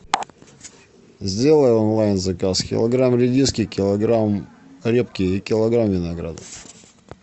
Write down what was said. сделай онлайн заказ килограмм редиски килограмм репки и килограмм винограда